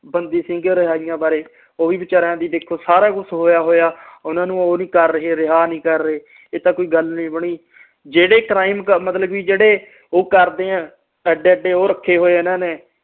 ਬੰਦੀ ਸਿੰਘ ਰਿਹਾਇਆ ਬਾਰੇ ਓਵੀ ਵਿਚਾਰਇਆ ਦੀ ਦੇਖੋ ਸਾਰਾ ਕੁਝ ਹੋਇਆ ਹੋਇਆ ਓਹਨਾ ਨੂੰ ਉਹ ਨਹੀਂ ਕਰ ਰਹੇ ਰਿਹਾ ਨਹੀਂ ਕਰ ਰਹੇ ਇਹ ਤਾ ਕੋਈ ਗੱਲ ਨਹੀਂ ਬਣੀ ਜਿਹੜੇ ਕ੍ਰਾਈਮ ਕਰਦੇ ਮਤਲਬ ਕਰਦੇ ਉਹ ਏਡੇ ਏਡੇ ਰੱਖੇ ਹੋਏ ਹਨ ਨੇ